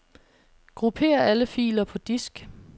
Grupper alle filer på disk.